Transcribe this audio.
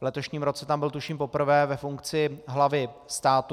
V letošním roce tam byl, tuším, poprvé ve funkci hlavy státu.